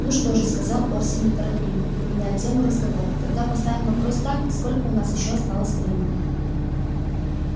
ну что же сказал орси неторопливо меняя тему разговора тогда поставим вопрос так сколько у нас ещё осталось времени